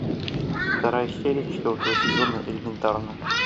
вторая серия четвертого сезона элементарно